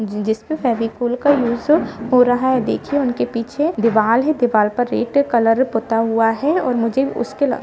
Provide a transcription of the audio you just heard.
जिसपे फेविकोल का यूज हो रहा है देखिए उनके पीछे दीवाल है दीवाल पर रेड कलर पूता हुआ है और मुझे उसके--